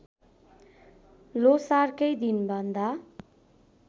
ल्होसारकै दिनभन्दा